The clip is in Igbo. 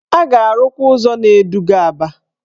A ga-arụkwa ụzọ na-eduga Aba.